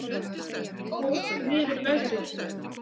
Ók niður vegrið